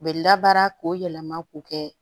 U bɛ labaara k'o yɛlɛma k'o kɛ